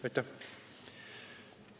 Aitäh!